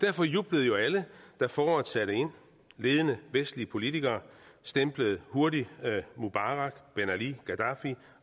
derfor jublede jo alle da foråret satte ind ledende vestlige politikere stemplede hurtigt mubarak ben ali gaddafi